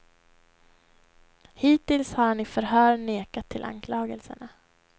Hittills har han i förhör nekat till anklagelserna.